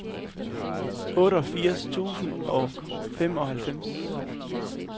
otteogfirs tusind og femoghalvfems